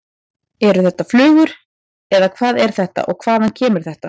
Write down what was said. Eru þetta flugur eða hvað er þetta og hvaðan kemur þetta?